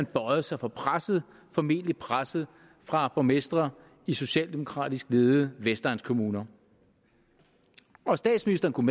bøjet sig for presset formentlig presset fra borgmestre i socialdemokratisk ledede vestegnskommuner statsministeren kunne